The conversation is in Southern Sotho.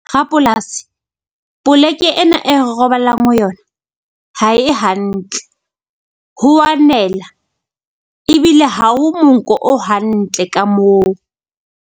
Rapolasi poleke ena e robalang ho yona, ha e hantle ho a nela ebile ha o monko o hantle ka moo.